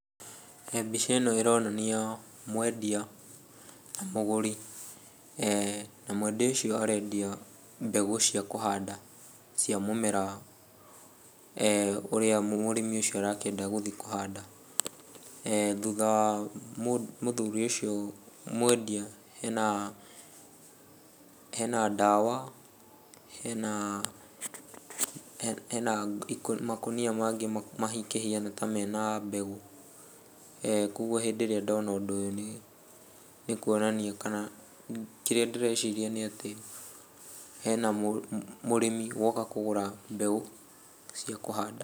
Mbĩca ĩno ĩronania mwendia na mũgũri. Na mwendia ũcio arendia mbegũ cia kũhanda cia mũmera ũrĩa mũrĩmi ucio arakĩenda gũthiĩ kũhanda. Thutha wa mũthuri ũcio mwendia hena hena ndawa, hena hena hena makũnia mangĩ makĩhiana ta mena mbegũ. Koguo hĩndĩ ĩrĩa ndona ũndũ ũyũ nĩkuonania kana kĩrĩa ndĩreciria nĩ atĩ hena mũrĩmi woka kũgũra mbegũ cia kũhanda.